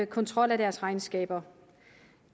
kontrol af deres regnskaber